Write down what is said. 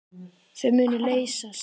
Þau munu leysast.